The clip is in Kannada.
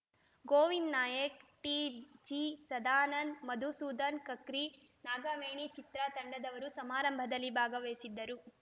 ಗೋವಿಂದ್‌ ನಾಯಕ್‌ ಟಿಜಿಸದಾನಂದ್‌ ಮಧುಸೂದನ್‌ ಕಕ್ರಿ ನಾಗವೇಣಿಚಿತ್ರ ತಂಡದವರು ಸಮಾರಂಭದಲ್ಲಿ ಭಾಗವಹಿಸಿದ್ದರು